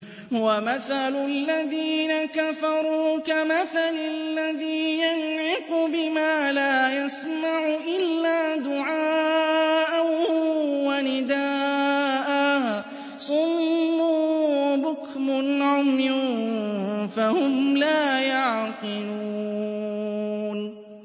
وَمَثَلُ الَّذِينَ كَفَرُوا كَمَثَلِ الَّذِي يَنْعِقُ بِمَا لَا يَسْمَعُ إِلَّا دُعَاءً وَنِدَاءً ۚ صُمٌّ بُكْمٌ عُمْيٌ فَهُمْ لَا يَعْقِلُونَ